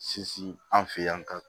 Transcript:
Sinsin an fɛ yan ka